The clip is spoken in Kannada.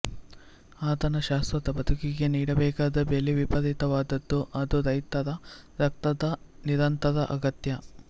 ಆತನ ಶಾಶ್ವತ ಬದುಕಿಗೆ ನೀಡಬೇಕಾದ ಬೆಲೆ ವಿಪರೀತವಾದದ್ದು ಅದು ರೈತರ ರಕ್ತದ ನಿರಂತರ ಅಗತ್ಯ